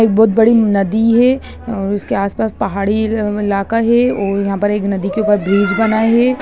एक बहुत बड़ी नदी है और उसके आस-पास पहाड़ी इलाका है और यहां पे नदी के ऊपर एक ब्रिज बना है।